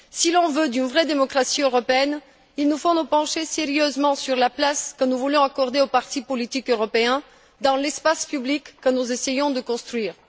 Si l'on veut une vraie démocratie européenne, il nous faut nous pencher sérieusement sur la place que nous voulons accorder aux partis politiques européens dans l'espace public que nous essayons de construire.